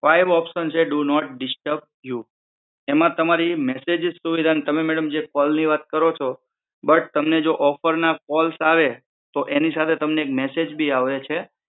five option છે do not disturb you એમાં તમારી મેસેજીસ સુવિધા ને તમે મેડમ જે કોલ ની વાત કરો છો બટ તમને જો ઓફર ના કોલ આવે તો એની સાથે તમને એક મેસેજ બી આવે છે